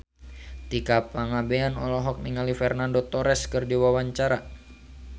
Tika Pangabean olohok ningali Fernando Torres keur diwawancara